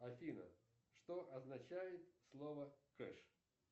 афина что означает слово кэш